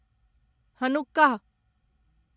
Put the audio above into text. Hanukkah